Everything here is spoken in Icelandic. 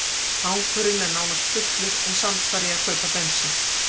Tankurinn er nánast fullur en samt þarf ég að kaupa bensín.